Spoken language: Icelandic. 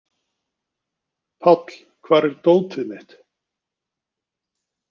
Páll, hvar er dótið mitt?